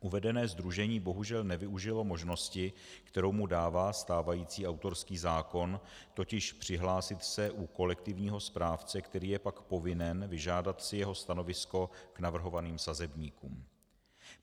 Uvedené sdružení bohužel nevyužilo možnosti, kterou mu dává stávající autorský zákon, totiž přihlásit se u kolektivního správce, který je pak povinen vyžádat si jeho stanovisko k navrhovaným sazebníkům.